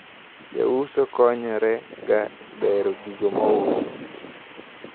Jouso konyrega e bero gigo magiuso.